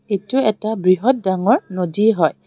এইটো এটা বৃহৎ ডাঙৰ নদী হয়.